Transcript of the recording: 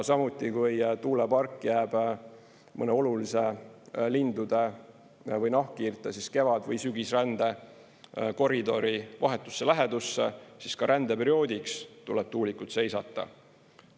Samuti, kui tuulepark jääb mõne olulise lindude või nahkhiirte kevad- või sügisrände koridori vahetusse lähedusse, siis ka rändeperioodiks tuleb tuulikud seisata.